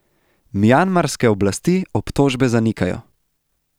Mjanmarske oblasti obtožbe zanikajo.